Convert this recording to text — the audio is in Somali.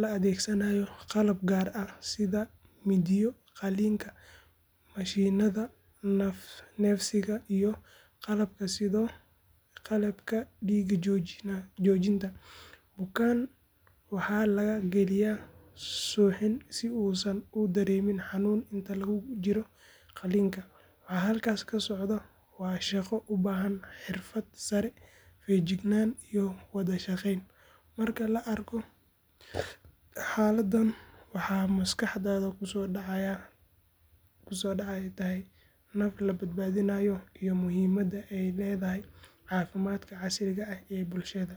la adeegsanaayo qalab gaar ah sida mindiyo qalliinka, mashiinnada neefsiga, iyo qalabka dhiig joojinta. Bukaan waxaa la geliyay suuxin si uusan u dareemin xanuun inta lagu jiro qalliinka. Waxa halkaas ka socdo waa shaqo u baahan xirfad sare, feejignaan iyo wada shaqeyn. Marka la arko xaaladdan, waxa maskaxda ku soo dhacaya tahay naf la badbaadinayo iyo muhiimadda ay leedahay caafimaadka casriga ah ee bulshada.